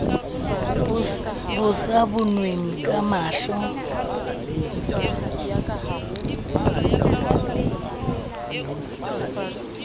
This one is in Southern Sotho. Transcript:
bo sa bonweng ka mahlo